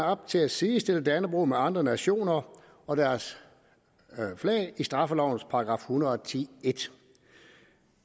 op til at sidestille dannebrog med andre nationer og deres flag i straffelovens § en hundrede og ti e